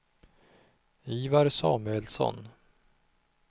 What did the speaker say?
Ivar Samuelsson